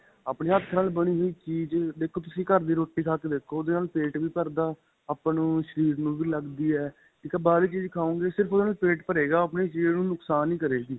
ਆਪਣੇਂ ਹੱਥ ਨਾਲ ਬਣੀ ਹੋਈ ਚੀਜ ਦੇਖੋ ਤੁਸੀਂ ਘਰ ਦੀ ਰੋਟੀ ਖਾਂ ਕੇ ਦੇਖੋ ਉਹਦੇ ਨਾਲ ਪੇਟ ਵੀ ਭਰਦਾ ਆਪਾਂ ਨੂੰ ਸ਼ਰੀਰ ਨੂੰ ਵੀ ਲੱਗਦੀ ਏ ਇੱਕ ਬਾਹਰਲੀ ਚੀਜ ਖਾਵੋਗੇ ਸਿਰਫ਼ ਉਹਦੇ ਨਾਲ ਪੇਟ ਭਰੇਗਾ ਆਪਣੇਂ ਸ਼ਰੀਰ ਨੂੰ ਨੁਕਸ਼ਾਨ ਕਰੇਗੀ